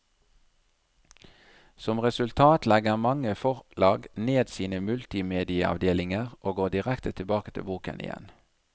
Som resultat legger mange forlag ned sine multimedieavdelinger og går direkte tilbake til boken igjen.